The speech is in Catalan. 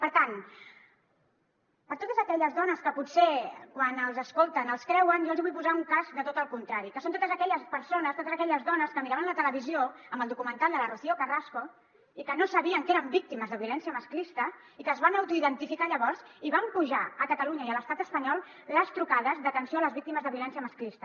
per tant a totes aquelles dones que potser quan els escolten els creuen jo els hi vull posar un cas de tot el contrari que són totes aquelles persones totes aquelles dones que miraven la televisió amb el documental de la rocío carrasco i que no sabien que eren víctimes de violència masclista i que es van autoidentificar llavors i van fer pujar a catalunya i a l’estat espanyol les trucades d’atenció a les víctimes de violència masclista